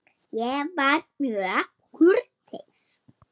Ég var mjög kurteis.